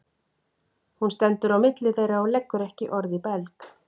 Hún stendur á milli þeirra og leggur ekki orð í belg.